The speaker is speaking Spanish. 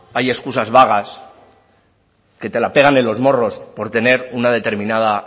hay excusas vagas que te la pegan en los morros por tener una determinada